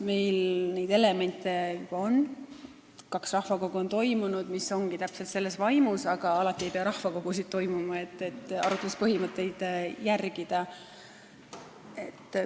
Meil neid elemente juba on, on toimunud kaks rahvakogu täpselt selles vaimus, aga alati ei pea toimuma rahvakogu, et arutluspõhimõtteid järgida.